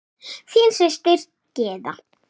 Þín systir, Gyða.